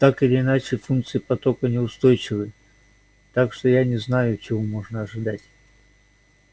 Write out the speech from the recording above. так или иначе функции потока неустойчивы так что я не знаю чего можно ожидать